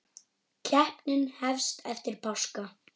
Keppnin hefst eftir páska.